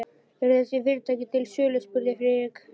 Eru þessi fyrirtæki til sölu? spurði Friðrik.